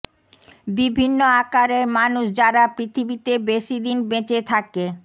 বিভিন্ন আকারের মানুষ যারা পৃথিবীতে বেশি দিন বেঁচে থাকে